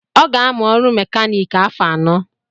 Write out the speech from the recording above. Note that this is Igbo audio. ọ ga-amụ ọrụ mèkánik afọ anọ